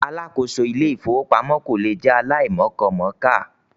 Alákòóso Ilé-ìfowópamọ́ kò lè jẹ́ aláìmọkọmọ̀ọ́kà.